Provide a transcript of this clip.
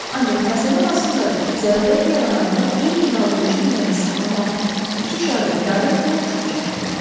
Ancaq məsələ orasında idi ki, zərurət yarananda eyni qaldırıcı qüvvəni saxlamaqla iki şarı idarə etmək çox çətindir.